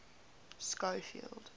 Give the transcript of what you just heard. schofield